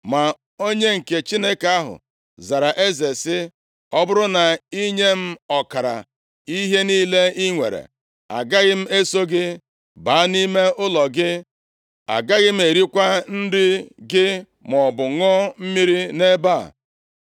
Ma onye nke Chineke ahụ zara eze sị, “Ọ bụrụ na i nye m ọkara ihe niile i nwere, agaghị m eso gị baa nʼime ụlọ gị. Agaghị m erikwa nri gị maọbụ ṅụọ mmiri nʼebe a.